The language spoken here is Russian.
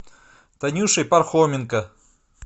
танюшей пархоменко